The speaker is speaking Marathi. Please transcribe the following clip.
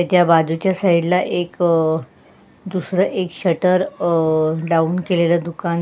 हेच्या बाजूच्या साइड ला एक अह दूसर एक शटर लाऊन केलेल दुकान--